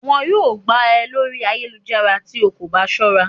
wọn yọọ gbá e Lori ayélujará tí o kọ ba sọra